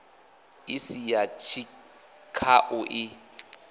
i si ya tshikhau i